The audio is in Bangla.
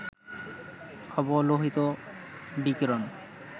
অবলোহিত বিকিরণ